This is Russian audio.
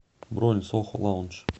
бронь сохо лаунж